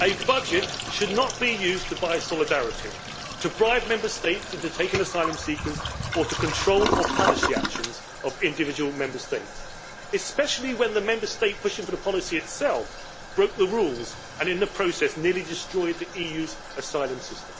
a budget should not be used to buy solidarity, to bribe Member States into taking asylum seekers, or to control or punish the actions of individual Member States, especially when the Member State pushing for the policy itself broke the rules and, in the process, nearly destroyed the EU's asylum system.